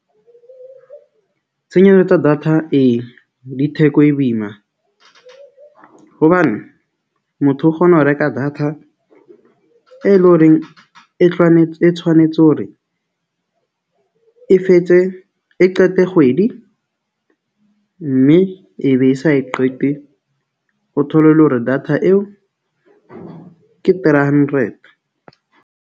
Tsa data, e di theko e boima hobane motho o kgona ho reka data e leng horeng e e tshwanetse hore e fetse e qete kgwedi, mme e be e sa e qete. O thole le hore data eo, ke three hundred.